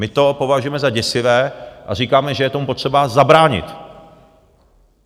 My to považujeme za děsivé a říkáme, že je tomu potřeba zabránit.